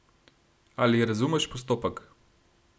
Ali razumeš postopek?